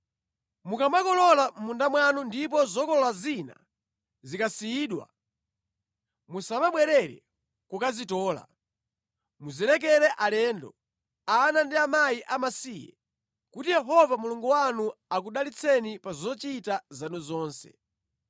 Mukamakolola mʼmunda mwanu ndipo zokolola zina zikasiyidwa, musamabwerere kukazitola. Muzilekere alendo, ana ndi akazi amasiye, kuti Yehova Mulungu wanu akudalitseni pa zochita zanu zonse.